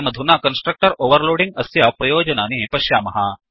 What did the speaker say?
वयमधुना constructor overloading अस्य प्रयोजनानि पश्यामः